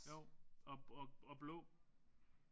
Jo. Og og og og blå